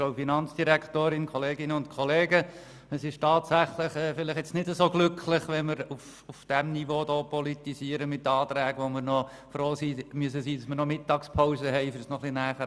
Vielleicht ist es tatsächlich nicht so glücklich, wenn wir ständig über Anträge diskutieren, bei denen wir froh sein müssen, dass wir sie wenigstens während der Mittagspause näher haben anschauen können.